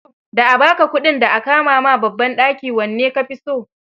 Da a ba ka kudin, da a kama ma babban ɗaki wanne ka fi so?